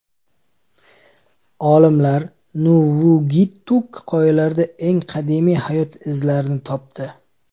Olimlar Nuvvuagittuk qoyalarida eng qadimiy hayot izlarini topdi.